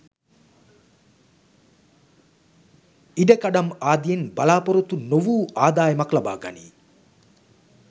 ඉඩකඩම් ආදියෙන් බලා‍පොරොත්තු නොවූ ආදායමක් ලබාගනී